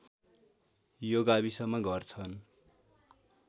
यो गाविसमा घर छन्